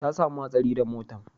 Ta samu hatsari da motan